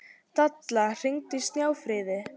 Dalla, hringdu í Snjáfríði.